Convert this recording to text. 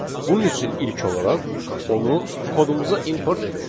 Bunun üçün ilk olaraq onu kodumuza import edək.